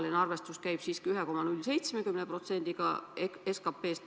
Praegu arvestatakse siiski 1,07%-ga SKP-st.